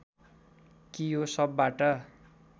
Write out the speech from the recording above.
कि यो सबबाट